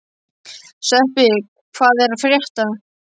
Sveppi, hvað er að frétta?